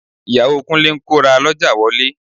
Ìyàwó Kúnlé ń kó rà lọ́jà wọlé